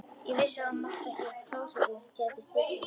Ég vissi að það mátti ekki, klósettið gæti stíflast.